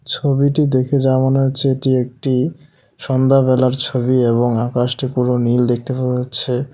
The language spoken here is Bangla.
ছবিটি দেখে যা মনে হচ্ছে এটি একটি সন্ধ্যাবেলার ছবি এবং আকাশটি পুরো নীল দেখতে পাওয়া যাচ্ছে।